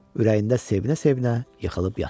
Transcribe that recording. Ürəyində sevinə-sevinə yıxılıb yatır.